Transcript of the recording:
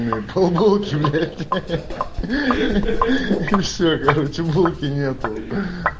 пол булки блять ахах все короче булки нету